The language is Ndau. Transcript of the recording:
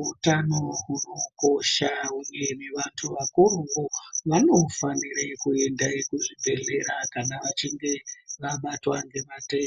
Utano hunokosha uye vantu vakuruwo ,vanofanire kuende kuzvibhedhlera kana vachinge vabatwa ngematenda.